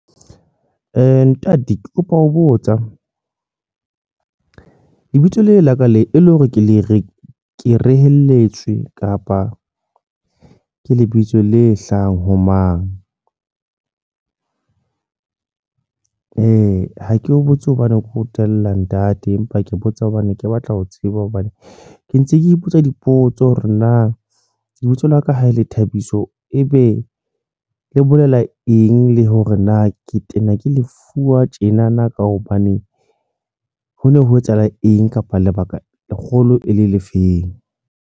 Ntate ke kopa ho botsa lebitso la ka le e le hore ke le re ke reheletswe kapa ke lebitso le hlahang ho mang, ha ke o botse hobane ke o tella ntate, empa ke botsa hobane ke batla ho tseba hobane ke ntse ke ipotsa dipotso hore na lebitso la ka ha e le Thabiso, ebe le bolela eng le hore na ke tena ke lefuwa tjena na ka hobane ho no ho etsahala eng kapa lebaka kgolo e le lefeng?